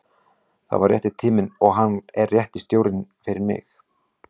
Þetta var rétti tíminn og hann er rétti stjórinn fyrir mig.